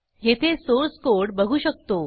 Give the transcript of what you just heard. येथे source code बघू शकतो